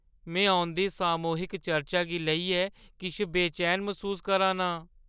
में औंदी सामूहिक चर्चा गी लेइयै किश बेचैन मसूस करा ना आं।